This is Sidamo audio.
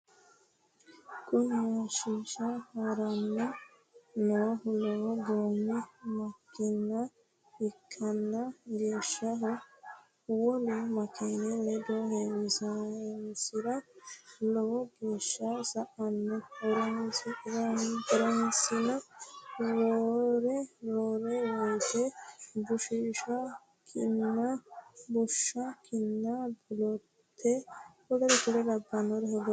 Kuni hashsha haranni noohu lowo goommi makina ikkanna geeshsano wolu makini ledo heewisinsiro lowo geeshsa sa"anno. horosino roore woyite bushsha, kinna, bolotte,w.k.l hogowateet.